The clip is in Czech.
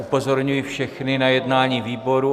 Upozorňuji všechny na jednání výboru.